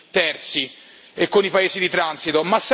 terzi e con i Paesi di transito.